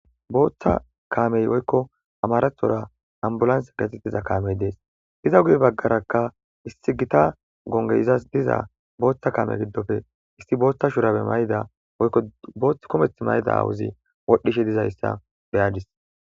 Booththa kaamey oykko amarathora ambulansa gate tiza kaamey dees iza guye baggarakka issi gita gonge izas diza booththa kaame giddofe issi booththa shurabe mayda oykko boothth kometh mayda awuzi wodhdhishe dizayssa beyadis.